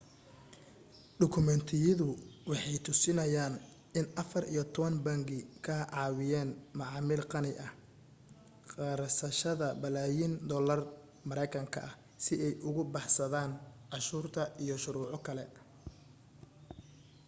dukumeentiyadu waxay tusinayaan in afar iyo toban bangi ka caawiyeen macaamiil qani ah qarsashada balaayin doolarka maraykanka ah si ay uga baxsadaan cashuurta iyo shuruuco kale